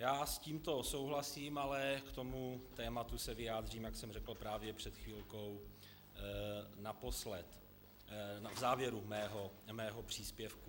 Já s tímto souhlasím, ale k tomuto tématu se vyjádřím, jak jsem řekl právě před chvilkou, naposled, v závěru svého příspěvku.